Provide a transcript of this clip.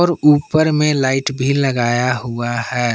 और उपर में लाइट भी लगाया हुआ है।